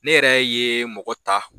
Ne yɛrɛ ye mɔgɔ ta.